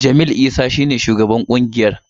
Jamil Isa shi ne shugaban ƙungiyar.